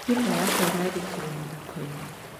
Thimu yakwa ĩrarutirwo mũhuko-inĩ.